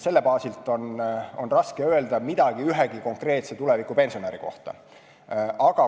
Selle baasilt on raske öelda midagi ühegi konkreetse tulevikupensionäri kohta.